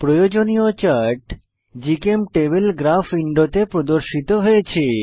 প্রয়োজনীয় chart GChemTable graph উইন্ডোতে প্রদর্শিত হয়েছে